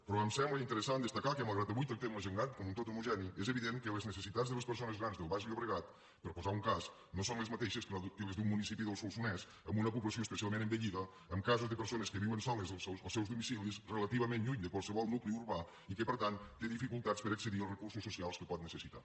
però em sembla interessant destacar que malgrat que avui tractem la gent gran com un tot homogeni és evident que les necessitats de les persones grans del baix llobregat per posar ne un cas no són les mateixes que les d’un municipi del solsonès amb una població especialment envellida amb casos de persones que viuen soles als seus domicilis relativament lluny de qualsevol nucli urbà i que per tant té dificultats per accedir als recursos socials que pot necessitar